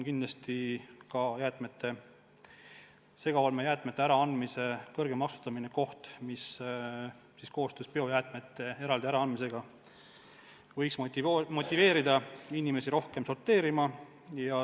Kindlasti on segaolmejäätmete äraandmise kõrgem tasustamine abinõu, mis koos biojäätmete eraldi äraandmisega võiks motiveerida inimesi rohkem sorteerima.